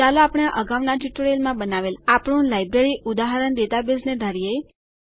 ચાલો આપણે અગાઉના ટ્યુટોરીયલોમાં બનાવેલ આપણુ લાઈબ્રેરી ઉદાહરણ ડેટાબેઝને ધારીએ